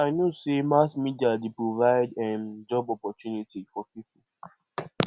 i know sey mass media dey provide um job opportunity for pipo